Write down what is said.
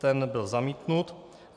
Ten byl zamítnut.